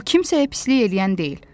O kimsəyə pislik eləyən deyil.